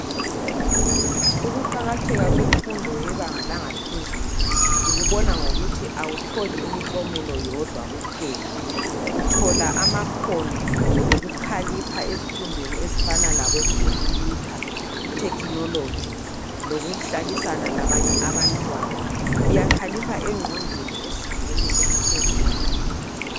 Ukuqakatheka kwemfundo yebanga laphezulu ukubona ngokuthi awutholi imiklomela yodwa uthola amakhono lokukhalipha ezifundweni zekhompuyutha lethekhinoloji lokuhlalisana labanye abantwana. Uyakhalipha engqondweni ezingeni eliphezulu.